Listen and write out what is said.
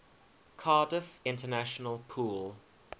cardiff international pool